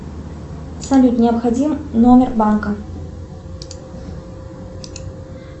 салют необходим номер банка